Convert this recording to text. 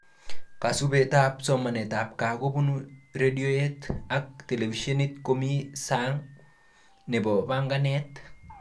Kasubetab somanetab gaa kobun radioyet ak televishenit komi sang nebo banganet